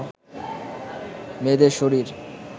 মেয়েদের শরীর